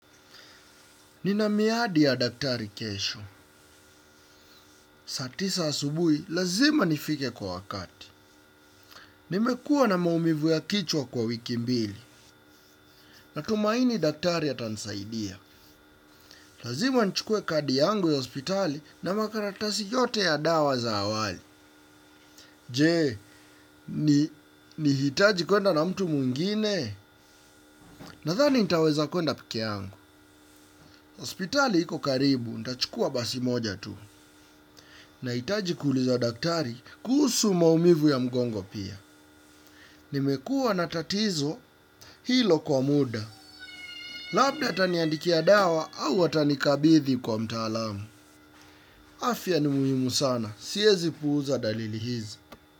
Nina miadi ya daktari kesho. Saa tisa asubuhi lazima nifike kwa wakati. Nimekuwa na maumivu ya kichwa kwa wiki mbili. Natumaini daktari atanisaidia. Lazima nichukue kadi yangu ya hospitali na makaratasi yote ya dawa za awali. Je, nihitaji kuenda na mtu mwingine? Nadhani nitaweza kuenda peke yangu. Hospitali iko karibu, nitachukua basi moja tu. Nahitaji kuuliza daktari kuhusu maumivu ya mgongo pia. Nimekuwa na tatizo hilo kwa muda. Labda ataniandikia dawa au atanikabidhi kwa mtaalamu. Afya ni muhimu sana. Siwezi puuza dalili hizi.